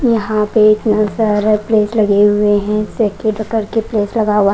यहां पे इतने सारे पेड़ लगे हुए हैं --